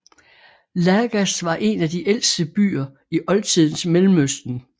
Lagash var en af de ældste byer i oldtidens Mellemøsten